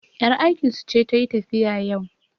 yar aikinsu ce ta yi tafiya yau